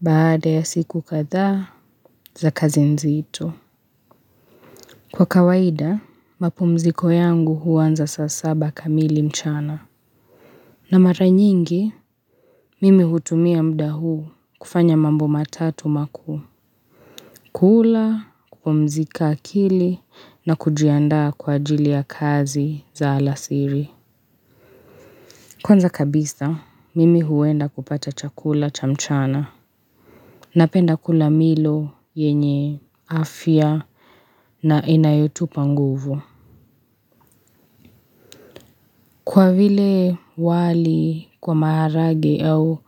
baada ya siku kadhaa za kazi nzito. Kwa kawaida, mapumziko yangu uanza saa saba kamili mchana. Na mara nyingi, mimi hutumia mda huu kufanya mambo matatu makuu. Kula, kupumzika akili na kujiandaa kwa ajili ya kazi za alasiri. Kwnza kabisa, mimi huenda kupata chakula cha mchana. Napenda kula milo yenye afya na inayotupa nguvu. Kwa vile wali kwa maharage au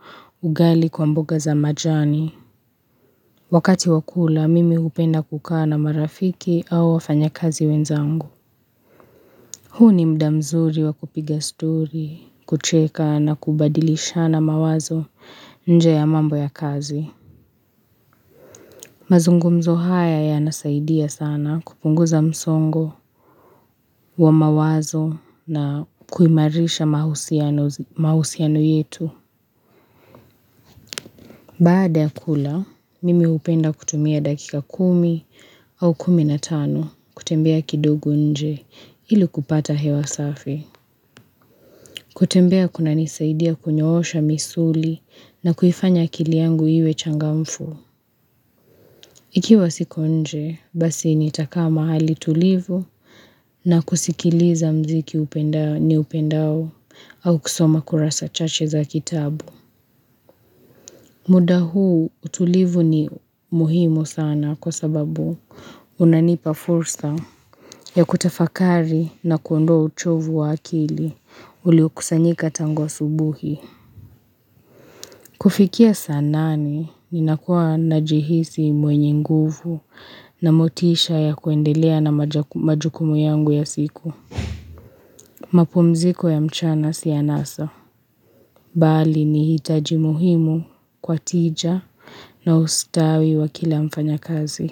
ugali kwa mboga za majani, wakati wakula mimi upenda kukaa na marafiki au wafanyakazi wenzangu. Huu ni mda mzuri wa kupiga stori, kucheka na kubadilishana mawazo nje ya mambo ya kazi. Mazungumzo haya yanasaidia sana kupunguza msongo wa mawazo na kuimarisha mahusiano yetu. Baada ya kula, mimi upenda kutumia dakika kumi au kumi na tano kutembea kidogo nje ili kupata hewa safi. Kutembea kunanisaidia kunyoosha misuli na kuifanya akili yangu iwe changamfu. Ikiwa siko nje, basi nitakaa mahali tulivu na kusikiliza mziki niupendao au kusoma kurasa chache za kitabu. Muda huu, utulivu ni muhimu sana kwa sababu unanipa fursa ya kutafakari na kuondoa uchovu wa akili ulio kusanyika tangu asubuhi. Kufikia saa nane ninakua najihisi mwenye nguvu na motisha ya kuendelea na majukumu yangu ya siku. Mapumziko ya mchana si anasa. Bali ni hitaji muhimu kwa tija na ustawi wa kila mfanyakazi.